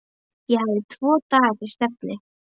Ég hafði tvo daga til stefnu.